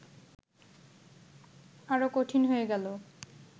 আরো কঠিন হয়ে গেল